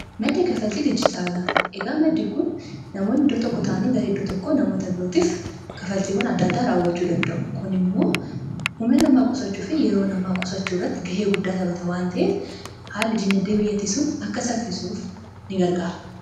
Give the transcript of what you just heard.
maddee kafaltii dijitaala iga maddi kun namoonni iddoo tokko taanii garee iddoo tokko namoota birootiif kafaltiiwwan adda addaa raawwachuu danda'u kun immoo humna namaa qosachuu fi yeroo namaa qosachuu irratti ga'ee guddaa tabata waan ta'eef haala dinagdee biyyattii akka saffisuuf in gargaara